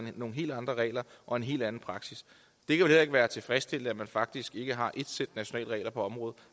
nogle helt andre regler og en helt anden praksis det kan vel ikke være tilfredsstillende at man faktisk ikke har ét sæt nationale regler på området